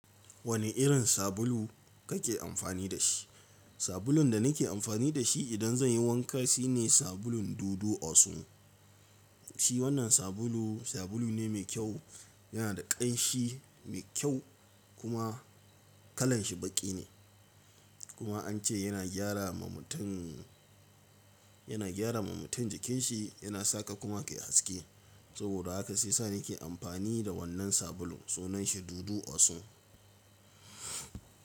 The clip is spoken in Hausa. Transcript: Wane irin sabulu kake amfani da shi? Sabulun da nake amfani da shi idan zan yi wanka shine sabulun Dudu-Osun. Shi wannan sabulu, sabulu ne mai kyau, yana da ƙanshi mai kyau kuma kalan shi baƙi ne. Kuma an ce yana gyara ma mutum, yana gyara ma mutum jikin shi, yana sa ka kuma ka yi haske. Saboda haka sai sa nake amfani da wannan sabulun. Sunan shi Dudu-Osun.